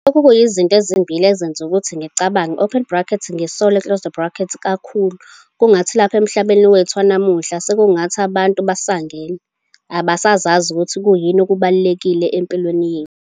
Lokhu kuyizinto ezimbili ezenza ukuthi ngicabange, ngisole, kakhulu - kungathi lapha emhlabeni wethu wanamuhla sekungathi abantu basangene, abasazi ukuthi kuyini okubalulekile empilweni yethu.